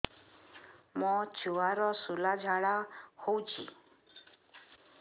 ମୋ ଛୁଆର ସୁଳା ଝାଡ଼ା ହଉଚି